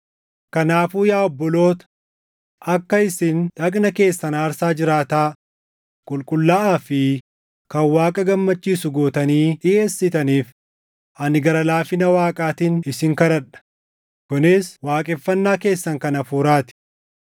Kanaafuu yaa obboloota, akka isin dhagna keessan aarsaa jiraataa, qulqullaaʼaa fi kan Waaqa gammachiisu gootanii dhiʼeessitaniif ani gara laafina Waaqaatiin isin kadhadha; kunis waaqeffannaa keessan kan hafuuraa ti.